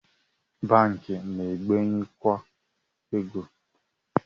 Banki na-ebenyekwa ego